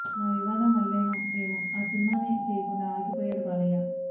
ఆ వివాదం వల్లేనో ఏమో ఆ సినిమానే చేయకుండా ఆగిపోయాడు బాలయ్య